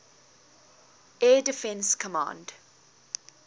air defense command